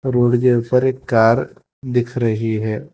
Road के ऊपर एक कार दिख रही है।